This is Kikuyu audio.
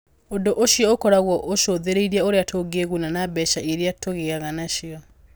Ũndũ ũcio ũkoragwo ũcũthĩrĩirie ũrĩa tũngĩĩguna na mbeca iria tũgĩaga nacio.